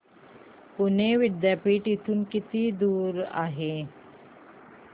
पुणे विद्यापीठ इथून किती दूर आहे